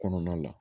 Kɔnɔna la